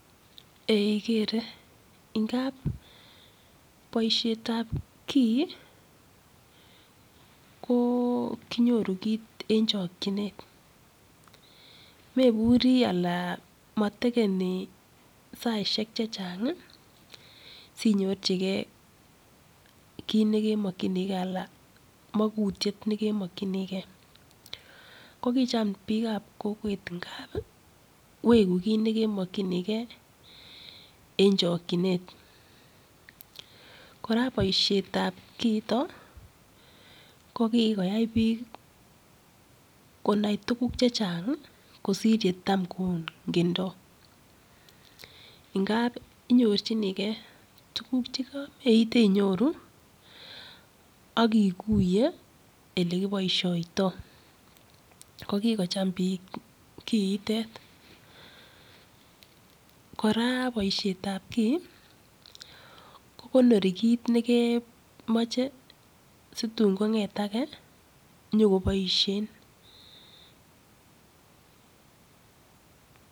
Ee igere ngap boishetab kii ko kinyoru kiit eng chokchinet meburi ala matakeni saishek che chang sinyorchigei kit negemakchinigei ala magutiet ne kemakchinigei.ko kicham biikab kokwek ngap wegu kiit ne kemakchinigei eng chokchinet. kora boishetab kiitok, ko kikoyai biik konai tukuk chechang kosir yecham kon'gendoi. Ngap inyirchinigei tukuk cheka meeite inyoru ak iguiye ele kiboishoitoi. Ko kikocham biik kiitok. kora boishetab kii ko konori kiit negemache situn kon'get age nyiko boishen.